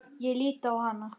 Ég lít á hana.